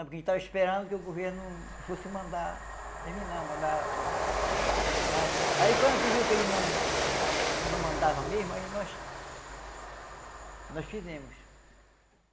Porque a gente estava esperando que o governo fosse mandar terminar, mandar... Mas, aí quando a gente viu que ele não... não mandava mesmo, aí nós... nós fizemos.